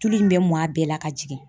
Tulu in bɛ mɔn a bɛɛ la ka jigin.